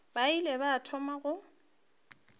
ba ile ba thoma go